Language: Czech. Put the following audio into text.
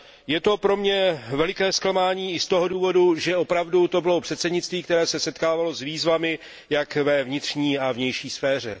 Je to pro mě veliké zklamání i z toho důvodu, že to opravdu bylo předsednictví, které se setkávalo s výzvami jak ve vnitřní, tak ve vnější sféře.